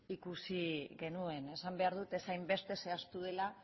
ikusi genuen esan behar dut ez hainbeste zehaztu dela